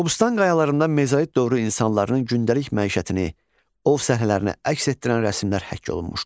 Qobustan qayalarında mezolit dövrü insanlarının gündəlik məişətini, ov səhnələrini əks etdirən rəsimlər həkk olunmuşdur.